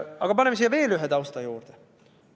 Aga paneme siia veel ühe tausta juurde.